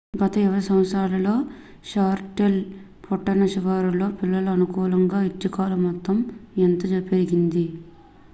గత 20 సంవత్సరాల్లో షార్లెట్ పట్టణ శివారులో పిల్లల అనుకూల ఐచ్ఛికాల మొత్తం ఎంతో పెరిగింది